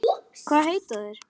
Hvað heita þeir?